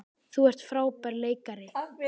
Þú ert frábær leikari.